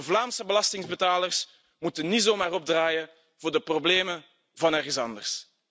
De Vlaamse belastingbetalers moeten niet zomaar opdraaien voor de problemen van ergens anders.